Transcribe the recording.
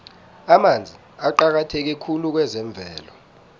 amanzi aqakatheke khulu kwezemvelo